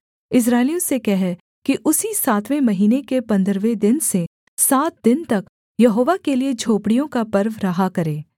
इस्राएलियों से कह कि उसी सातवें महीने के पन्द्रहवें दिन से सात दिन तक यहोवा के लिये झोपड़ियों का पर्व रहा करे